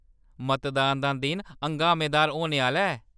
मतदान दा दिन हंगामेदार होने आह्‌‌‌ला ऐ।